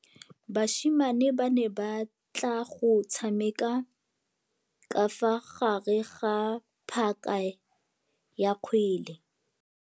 Basimane ba ne batla go tshameka ka fa gare ga phaka ya kgwele.